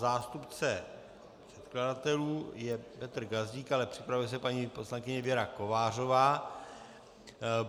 Zástupce předkladatelů je Petr Gazdík, ale připravuje se paní poslankyně Věra Kovářová.